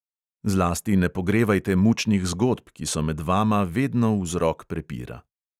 Zlasti ne pogrevajte mučnih zgodb, ki so med vama vedno vzrok prepira.